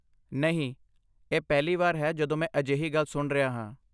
ਨਹੀਂ, ਇਹ ਪਹਿਲੀ ਵਾਰ ਹੈ ਜਦੋਂ ਮੈਂ ਅਜਿਹੀ ਗੱਲ ਸੁਣ ਰਿਹਾ ਹਾਂ!